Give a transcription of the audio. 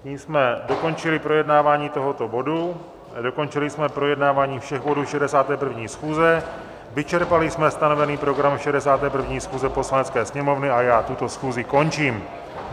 Nyní jsme dokončili projednávání tohoto bodu, dokončili jsme projednávání všech bodů 61. schůze, vyčerpali jsme stanovený program 61. schůze Poslanecké sněmovny a já tuto schůzi končím.